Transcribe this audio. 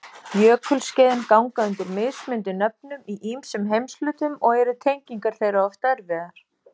Jökulskeiðin ganga undir mismunandi nöfnum í ýmsum heimshlutum og eru tengingar þeirra oft erfiðar.